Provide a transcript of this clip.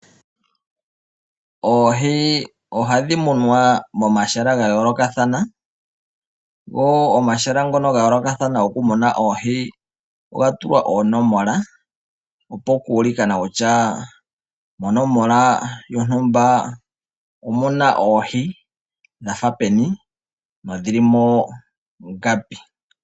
Oohi ohadhi munwa momahala ga yoolokathana. Mo mahala ngoka ga yoolokathatana oga tulwa oonomola opo kuu li kwe no kutya monomola yontumba omuuna oohi dha tha peni nomuna oohi ngapi.